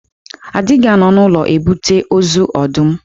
A dịghị anọ n'ụlọ ebute ozu ọdụm.